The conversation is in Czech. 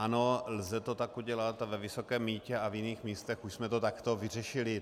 Ano, lze to tak udělat a ve Vysokém Mýtě a v jiných místech už jsme to takto vyřešili.